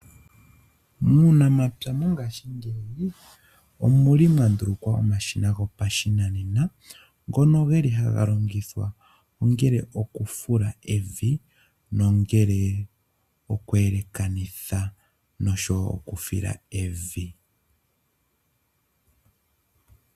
Muunamapya mongashiingeyi, omuli mwa ndulukwa omashina gopashinanena ngono geli haga longithwa ongele okufula evi nongele oku yelekanitha nosho woo oku fila evi .